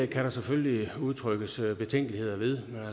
der selvfølgelig udtrykkes betænkeligheder ved